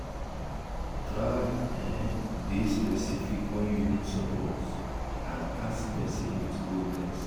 try um de specific when you need support and ask persin with boldness